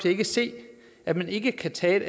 ikke se at man ikke kan tage et